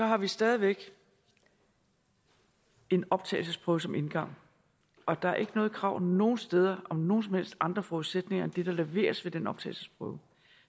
har vi stadig væk en optagelsesprøve som indgang og der er ikke noget krav nogle steder om nogen som helst andre forudsætninger end det der leveres ved den optagelsesprøve